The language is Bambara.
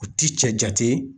U ti cɛ jate